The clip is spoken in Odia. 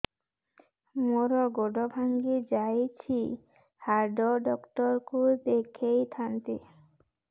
ମୋର ଗୋଡ ଭାଙ୍ଗି ଯାଇଛି ହାଡ ଡକ୍ଟର ଙ୍କୁ ଦେଖେଇ ଥାନ୍ତି